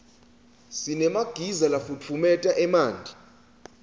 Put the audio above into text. sinemagiza lafutfumeta emanti